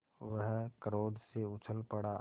वह क्रोध से उछल पड़ा